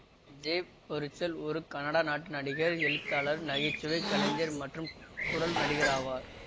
J Baruchel ஒரு Canada நாட்டு நடிகர் எழுத்தாளர் நகைச்சுவை கலைஞர் மற்றும் குரல் நடிகர் ஆவார்